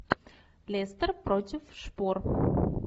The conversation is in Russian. лестер против шпор